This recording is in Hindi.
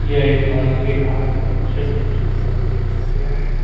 यह एक मॉल के आंगन का दृश्य है जिसमें सभी तलों को दिखाया गया है।